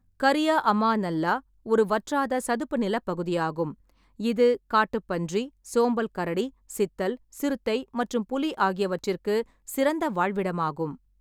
கரியா அமா நல்லா ஒரு வற்றாத சதுப்பு நிலப் பகுதியாகும், இது காட்டுப்பன்றி, சோம்பல் கரடி, சித்தல், சிறுத்தை மற்றும் புலி ஆகியவற்றிற்கு சிறந்த வாழ்விடமாகும்.